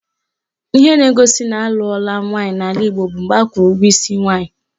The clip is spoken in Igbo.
Ihe na-egosi na anụọla nwaanyị n'ala Igbo bụ mgbe akwụrụ ụgwọ isi nwaanyị